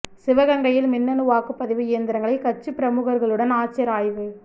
சிவகங்கையில் மின்னணு வாக்குப் பதிவு இயந்திரங்களை கட்சிப் பிரமுகா்களுடன் ஆட்சியா் ஆய்வு